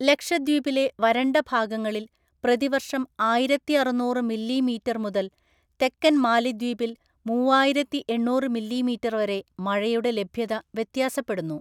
ലക്ഷദ്വീപിലെ വരണ്ട ഭാഗങ്ങളിൽ പ്രതിവർഷം ആയിരത്തിഅറുനൂറ് മില്ലിമീറ്റർ മുതൽ തെക്കൻ മാലിദ്വീപിൽ മൂവായിരത്തിഎണ്ണൂറ് മില്ലിമീറ്റർ വരെ മഴയുടെ ലഭ്യത വ്യത്യാസപ്പെടുന്നു.